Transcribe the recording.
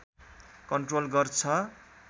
control गर्छ